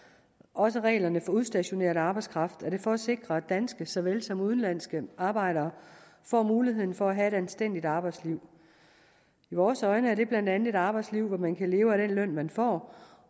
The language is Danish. også reglerne for udstationeret arbejdskraft er det for at sikre at danske såvel som udenlandske arbejdere får muligheden for at have et anstændigt arbejdsliv i vores øjne er det blandt andet et arbejdsliv at man kan leve af den løn man får